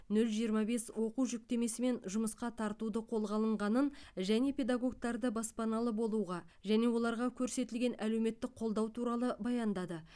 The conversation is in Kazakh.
нөл жиырма бес оқу жүктемесімен жұмысқа тартуды қолға алынғанын және педагогтарды баспаналы болуға және оларға көрсетілген әлеуметтік қолдау туралы баяндады